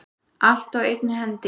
Allt á einni hendi.